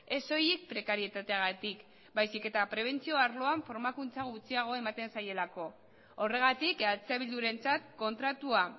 ez soilik prekarietateagatik baizik eta prebentzio arloan formakuntza gutxiago ematen zaielako horregatik eh bildurentzat kontratua